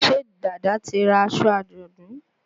Ṣé Dàda ti ra aṣọ àjọ̀dún?